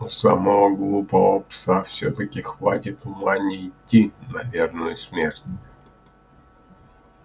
у самого глупого пса всё-таки хватит ума не идти на верную смерть